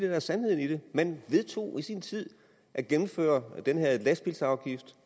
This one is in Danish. er sandheden i det man vedtog i sin tid at gennemføre den her lastbilsafgift